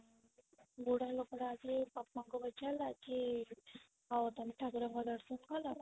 ବୁଢା ଲୋକ ଟା ଆସିକି ପାପା ଙ୍କୁ ପଚାରିଲା କି ଆଉ ତମେ ଠାକୁରଙ୍କୁ ଦର୍ଶନ କଲ